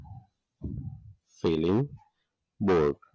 feeling both